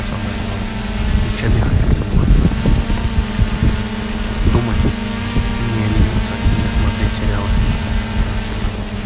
самое главное и чем я хочу заниматься думать не лениться не смотреть сериалы